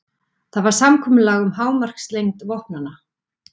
Það var samkomulag um hámarkslengd vopnanna.